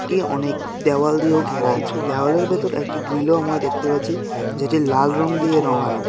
এটি অনেক দেওয়াল দিয়েও ঘেরা আছে দেওয়ালের ভিতর একটি গ্রিলও আমরা দেখতে পাচ্ছি যেটি লাল রং দিয়ে রঙানো .